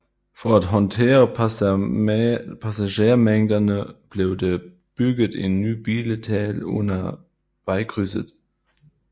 For at håndtere passagermængderne blev der bygget en ny billethal under vejkrydset